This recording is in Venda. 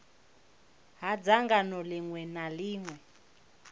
ha dzangano ḽiṅwe na ḽiṅwe